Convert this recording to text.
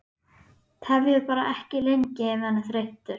Tefjið bara ekki lengi ef hann er þreyttur